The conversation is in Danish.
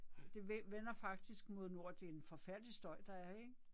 Det vender faktisk mod nord det er en forfærdelig støj der er ikke?